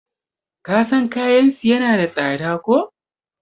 kasan kayansu yana da tsada ko?